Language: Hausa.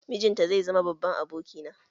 Mijinta zai zama babban abokina